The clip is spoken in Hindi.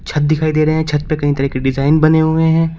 छत दिखाई दे रहे हैं छत पे कई तरह के डिजाइन बने हुए हैं।